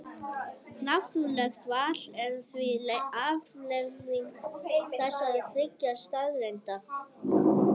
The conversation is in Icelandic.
Náttúrlegt val er því afleiðing þessara þriggja staðreynda.